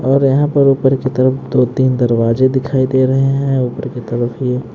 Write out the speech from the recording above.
और यहां पर ऊपर की तरफ दो-तीन दरवाजे दिखाई दे रहे हैं ऊपर की तरफ ये--